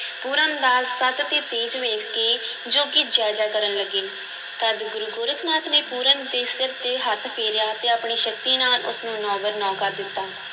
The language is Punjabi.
ਪੂਰਨ ਦਾ ਸਤਿ ਤੇ ਤੇਜ ਵੇਖ ਕੇ ਜੋਗੀ ਜੈ-ਜੈ ਕਰਨ ਲੱਗੇ, ਤਦ ਗੁਰੂ ਗੋਰਖ ਨਾਥ ਨੇ ਪੂਰਨ ਦੇ ਸਿਰ 'ਤੇ ਹੱਥ ਫੇਰਿਆ ਤੇ ਆਪਣੀ ਸ਼ਕਤੀ ਨਾਲ ਉਸ ਨੂੰ ਨੌ-ਬਰ-ਨੌ ਕਰ ਦਿੱਤਾ।